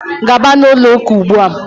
gaba na ụlọ ụka ugbua!